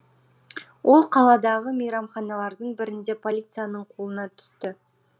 ол қаладағы мейрамханалардың бірінде полицияның қолына түсті